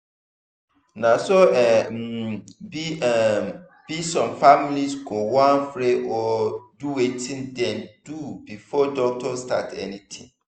na so e um be um be some families go wan pray or do wetin dem dey do before doctor start anything.